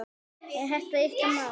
Er þetta ykkar mál?